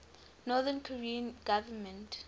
north korean government